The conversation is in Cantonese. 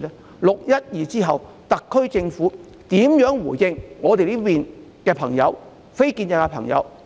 在"六一二"之後，特區政府如何回應我們非建制派、